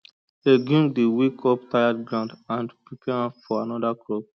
legume dey wake up tired ground and prepare am for another crop